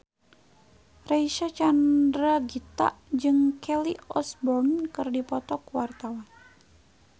Reysa Chandragitta jeung Kelly Osbourne keur dipoto ku wartawan